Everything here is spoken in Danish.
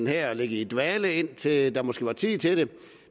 her ligge i dvale indtil der måske er tid til det